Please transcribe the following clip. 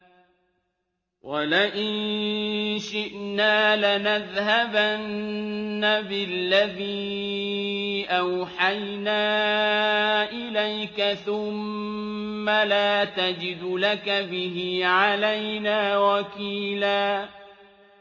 وَلَئِن شِئْنَا لَنَذْهَبَنَّ بِالَّذِي أَوْحَيْنَا إِلَيْكَ ثُمَّ لَا تَجِدُ لَكَ بِهِ عَلَيْنَا وَكِيلًا